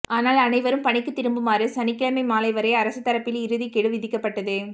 ஆனால் அனைவரும் பணிக்கு திரும்புமாறு சனிக்கிழமை மாலை வரை அரசு தரப்பில் இறுதி கெடு விதிக்கப்பட்டது